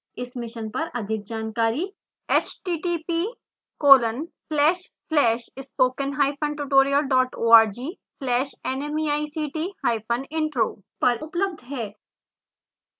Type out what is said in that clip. इस मिशन पर अधिक जानकारी